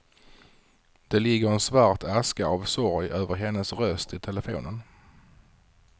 Det ligger en svart aska av sorg över hennes röst i telefonen.